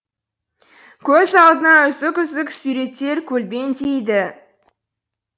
көз алдына үзік үзік суреттер көлбеңдейді